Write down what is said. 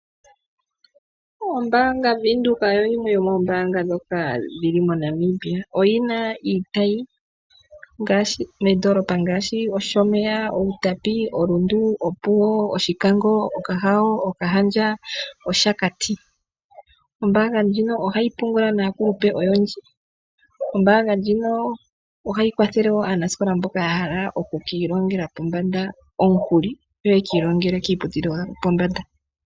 Ombaanga yaWindhoek oyo yimwe yomombaanga dhomoNamibia. Oyina iitayi moondoolopa ngaashi Oshomeya, Outapi, Rundu, Opuwo, Grootfontein, Okahao, Okahandja, Capricon nOshakati. Ombaanga ndjino ohayi pungula naakulupe. Ombaanga ndjino ohayi kwathele aanasikola mboka ya hala okwiilongela pombanda omukuli yo ye kiilongele kiiputudhilo yo pombanda.